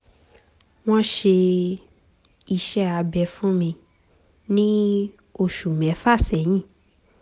wọ́n ṣe iṣẹ́ abẹ fún mi ní oṣù mẹ́fà sẹ́yìn